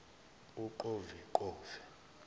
uqoveqove